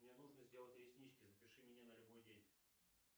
мне нужно сделать реснички запиши меня на любой день